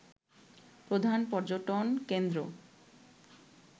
প্রধান পর্যটনকেন্দ্র